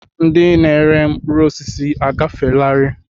Ndị na-ere mkpụrụ osisi agafeelarị?